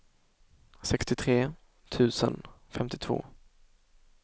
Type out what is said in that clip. sextiotre tusen femtiotvå